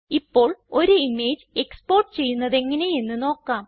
ഇപ്പോൾ ഒരു image export ചെയ്യുന്നതെങ്ങനെയെന്ന് നോക്കാം